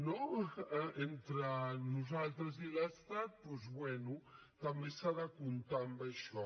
no entre nosaltres i l’estat doncs bé també s’ha de comptar amb això